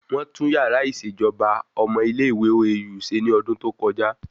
Wọ́n tún yàrá ìṣèjọba ọmọ ilé ìwé OAU ṣe ní ọdún tó kọjá